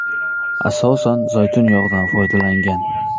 Asosan zaytun yog‘idan foydalangan.